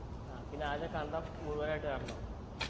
ആ പിന്നെ ആദ്യം കണ്ടം മുഴുവനായിട്ട് നടണം